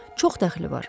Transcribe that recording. Çox dəxli var.